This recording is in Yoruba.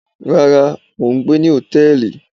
Rárá, mò ń gbé ní hòtẹ́ẹ̀lì.